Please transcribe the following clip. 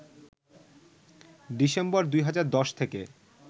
December ২০১০ থেকে